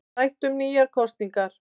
Rætt um nýjar kosningar